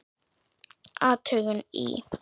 Athugun í